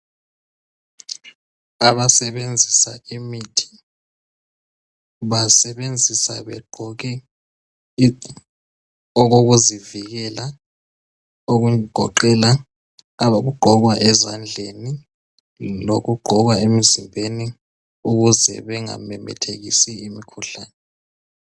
Abasebenzisa imithi basebenzisa begqoke okokuzivikela okugoqela abakugqoka ezandleni lokugqokwa emzimbeni ukuze bengamemethekisi imikhuhlane.